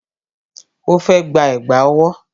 Ó fẹ́ gba Ẹ̀gbá ọwọ́